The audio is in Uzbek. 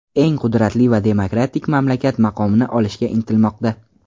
eng qudratli va demokratik mamlakat maqomini olishga intilmoqda.